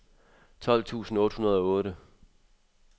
tolv tusind otte hundrede og otte